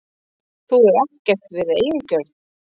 Þú hefur ekkert verið eigingjörn.